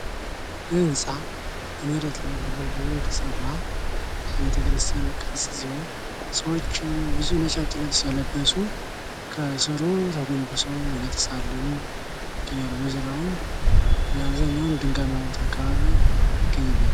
ይህ ህንጻ በመሬት ተፈልፍሎ የተሰራ የቤተክርስቲያን ቅርስ ሲሆን ሰዎች ብዙ ነጫጭ ልብስ የለበሱ ከአፈሩ ተጎንብሰው እየተሳለሙ አብዛኛውን ድንጋያማ ቦታ አካባቢ ይገኝበታል።